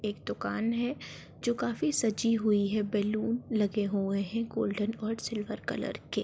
एक दुकान है जो काफी सजी हुई है। बैलून लगे हुए हैं गोल्डन और सिल्वर कलर के।